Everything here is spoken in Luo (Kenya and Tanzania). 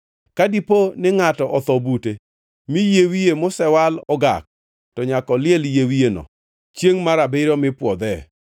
“ ‘Ka dipo ni ngʼato otho bute, mi yie wiye mosewal ogak, to nyaka oliel yie wiyeno chiengʼ mar abiriyo mipwodhee.